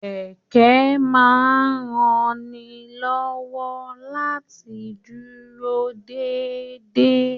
Kẹkẹ máa n ránilọ́wọ́ láti dúró déédé.